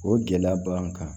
O gɛlɛya b'an kan